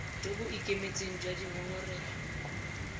jo bo ikemetseng jwa dingongorego